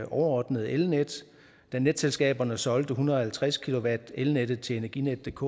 overordnede elnet da netselskaberne solgte en hundrede og halvtreds kv elnettet til energinetdk